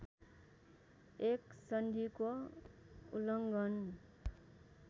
एक सन्धिको उल्लङ्घन